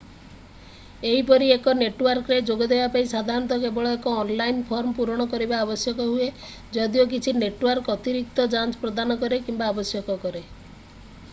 ଏହିପରି ଏକ ନେଟୱାର୍କରେ ଯୋଗ ଦେବା ପାଇଁ ସାଧାରଣତଃ କେବଳ ଏକ ଅନଲାଇନ ଫର୍ମ ପୂରଣ କରିବା ଆବଶ୍ୟକ ହୁଏ ଯଦିଓ କିଛି ନେଟୱାର୍କ ଅତିରିକ୍ତ ଯାଞ୍ଚ ପ୍ରଦାନ କରେ କିମ୍ବା ଆବଶ୍ୟକ କରେ